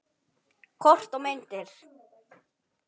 Kort og myndir